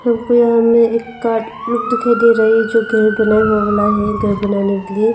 हमको यहां में एक काठ लोग दिखाई दे रहा है जो घर बनाये हुए वाला है घर बनाने के लिए।